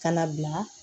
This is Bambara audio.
Ka na bila